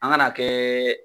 An kan'a kɛ.